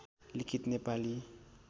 लिखित नेपाली